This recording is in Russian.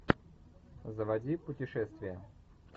заводи путешествия